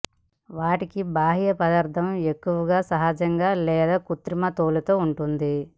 వాటికి బాహ్య పదార్థం ఎక్కువగా సహజంగా లేదా కృత్రిమ తోలుతో ఉంటుంది